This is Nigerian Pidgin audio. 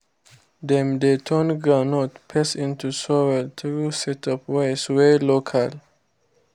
dem dey turn groundnut paste into oil through sets of ways wey local.